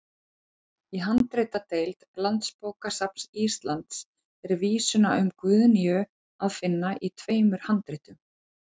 Í handritadeild Landsbókasafns Íslands er vísuna um Guðnýju að finna í tveimur handritum.